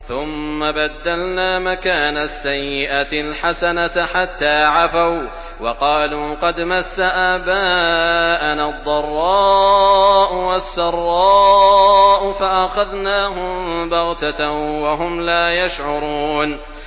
ثُمَّ بَدَّلْنَا مَكَانَ السَّيِّئَةِ الْحَسَنَةَ حَتَّىٰ عَفَوا وَّقَالُوا قَدْ مَسَّ آبَاءَنَا الضَّرَّاءُ وَالسَّرَّاءُ فَأَخَذْنَاهُم بَغْتَةً وَهُمْ لَا يَشْعُرُونَ